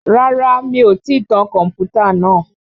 Rárá mi ò tí tan kọ̀mpútà náà